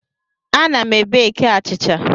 Ana m beki achịcha.